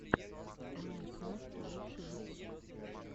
лайк настя лучший выпуск